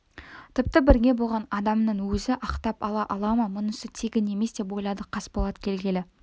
тіпті бірге болған адамның өзі ақтап ала ала ма мұнысы тегін емес деп ойлады қасболат келгелі